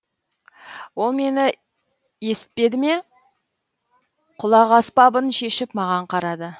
ол мені есітпеді ме құлақаспабын шешіп маған қарады